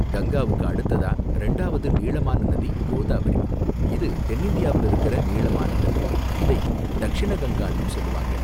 கங்காவுக்கு அடுத்ததா ரெண்டாவது நீளமான நதி கோதாவரி, இது தென்னிந்தியாவில இருக்குற நீளமான நதி, இதை தக்ஷிண கங்கான்னும் சொல்வாங்க.